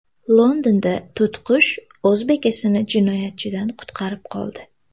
Londonda to‘tiqush o‘z bekasini jinoyatchidan qutqarib qoldi.